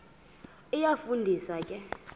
iyafu ndisa ke